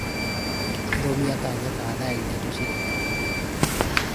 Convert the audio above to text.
Rũmia kaanya ka thaa ithatũ cia ũtukũ